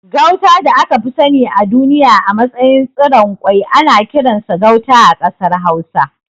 Gauta da aka fi sani a duniya a matsayin tsiron kwai ana kiransa Gauta a ƙasar Hausa.